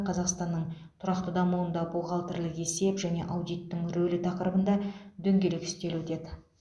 қазақстанның тұрақты дамуында бухгалтерлік есеп және аудиттің рөлі тақырыбында дөңгелек үстел өтеді